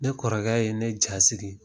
Ne kɔrɔkɛ ye ne jasiri.